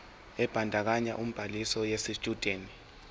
ebandakanya ubhaliso yesitshudeni